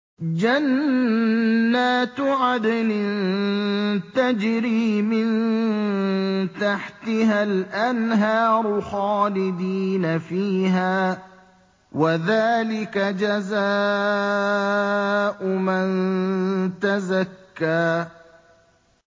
جَنَّاتُ عَدْنٍ تَجْرِي مِن تَحْتِهَا الْأَنْهَارُ خَالِدِينَ فِيهَا ۚ وَذَٰلِكَ جَزَاءُ مَن تَزَكَّىٰ